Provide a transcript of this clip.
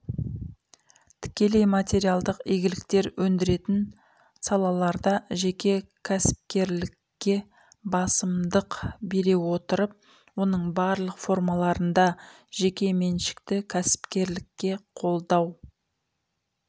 тікелей материалдық игіліктер өндіретін салаларда жеке кәсіпкерлікке басымдық бере отырып оның барлық формаларында жеке меншікті кәсіпкерлікке қолдау